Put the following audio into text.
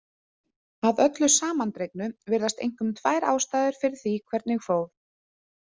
Að öllu samandregnu virðast einkum tvær ástæður fyrir því hvernig fór.